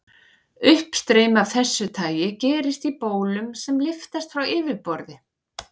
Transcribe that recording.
Uppstreymi af þessu tagi gerist í bólum sem lyftast frá yfirborði.